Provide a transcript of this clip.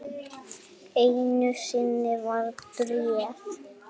Einu sinni var bréf.